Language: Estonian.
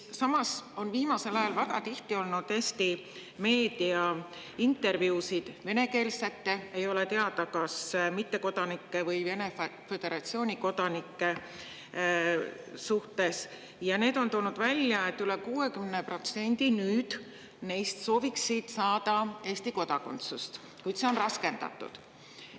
Samas on viimasel ajal väga tihti olnud Eesti meedias intervjuusid venekeelsete, ei ole teada, kas mittekodanikega või Vene föderatsiooni kodanikega, kes on toonud välja, et üle 60% neist sooviksid nüüd saada Eesti kodakondsust, kuid see on raskendatud.